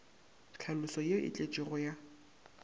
tlhaloso ye e tletšego ya